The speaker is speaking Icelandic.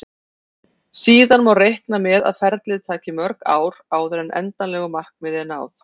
Síðan má reikna með að ferlið taki mörg ár áður en endanlegu markmiði er náð.